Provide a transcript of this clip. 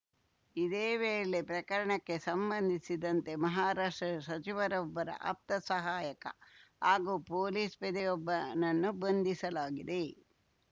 ಇದೇ ವೇಳೆ ಪ್ರಕರಣಕ್ಕೆ ಸಂಬಂಧಿಸಿದಂತೆ ಮಹಾರಾಷ್ಟ್ರ ಸಚಿವರೊಬ್ಬರ ಆಪ್ತ ಸಹಾಯಕ ಹಾಗೂ ಪೊಲೀಸ್ ಪೇದೆಯೊಬ್ಬನನ್ನು ಬಂಧಿಸಲಾಗಿದೆ